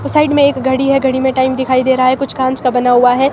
उस साइड में एक घड़ी है घड़ी में टाइम दिखाई दे रहा है कुछ कांच का बना हुआ है।